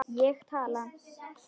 Ég tala.